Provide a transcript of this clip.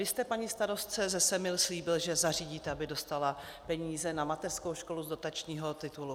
Vy jste paní starostce ze Semil slíbil, že zařídíte, aby dostala peníze na mateřskou školu z dotačního titulu.